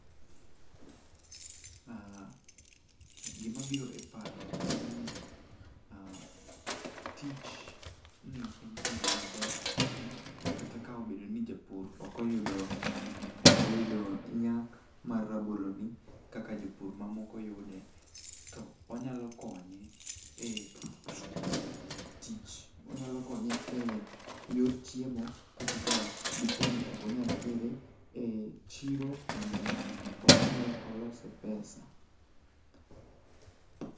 Ah gimabiro e paro en ni ah tichni en tij maber ahinya kata ka obedo ni japur okoyudo nyak mar raboloni kaka jopur mamoko yude to onyalo konye e yor chiemo kata ka dipo ni okonyal tere e chiro mondo omi ong'iewe olose pesa.